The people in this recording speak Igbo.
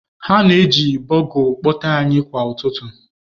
Ha na-eji bugle kpọtee anyị kwa ụtụtụ.